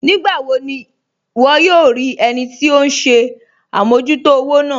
Nígbàwò ní wọ́ yòò rí ẹnì tí ọ̀hun ṣẹ̀ àmọ̀jútò òwò náà?